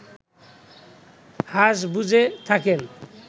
হাঁস বুঝে থাকেন